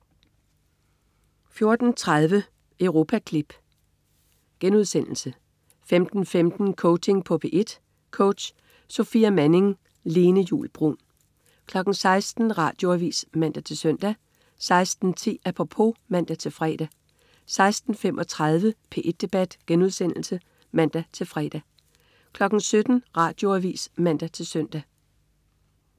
14.30 Europaklip* 15.15 Coaching på P1. Coach: Sofia Manning. Lene Juul Bruun 16.00 Radioavis (man-søn) 16.10 Apropos (man-fre) 16.35 P1 Debat* (man-fre) 17.00 Radioavis (man-søn)